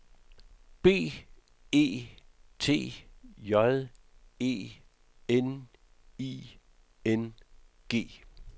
B E T J E N I N G